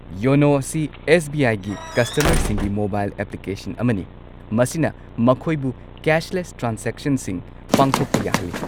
YONO ꯑꯁꯤ S. B. I. ꯒꯤ ꯀꯁꯇꯃꯔꯁꯤꯡꯒꯤ ꯃꯣꯕꯥꯏꯜ ꯑꯦꯄ꯭ꯂꯤꯀꯦꯁꯟ ꯑꯃꯅꯤ, ꯃꯁꯤꯅ ꯃꯈꯣꯏꯕꯨ ꯀꯦꯁꯂꯦꯁ ꯇ꯭ꯔꯥꯟꯖꯦꯛꯁꯟꯁꯤꯡ ꯄꯥꯡꯊꯣꯛꯄ ꯌꯥꯍꯜꯂꯤ꯫